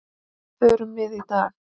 Förum við í dag?